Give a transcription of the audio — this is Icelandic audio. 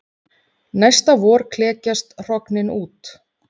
Næsta vor klekjast hrognin út.